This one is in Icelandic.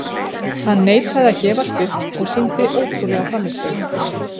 Hann neitaði að gefast upp og sýndi ótrúlega frammistöðu.